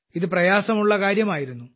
ഇത് പ്രയാസമുള്ള കാര്യമായിരുന്നു